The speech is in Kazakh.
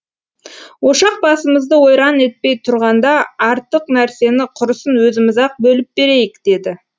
ошақ басымызды ойран етпей тұрғанда артык нәрсені құрысын өзіміз ақ бөліп берейік деді